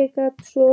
Ég get svo